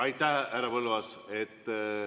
Aitäh, härra Põlluaas!